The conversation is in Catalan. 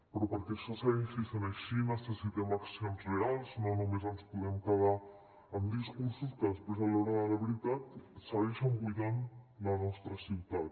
però perquè això segueixi sent així necessitem accions reals no només ens podem quedar amb discursos que després a l’hora de la veritat segueixen buidant la nostra ciutat